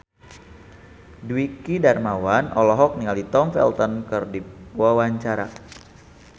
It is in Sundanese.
Dwiki Darmawan olohok ningali Tom Felton keur diwawancara